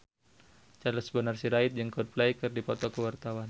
Charles Bonar Sirait jeung Coldplay keur dipoto ku wartawan